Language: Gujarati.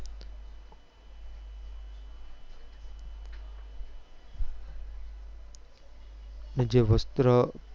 ને જે વસ્ત્ર